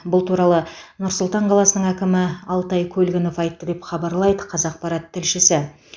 бұл туралы нұр сұлтан қаласының әкімі алтай көлгінов айтты деп хабарлайды қазақпарат тілшісі